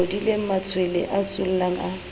bodileng matshwele a sollang a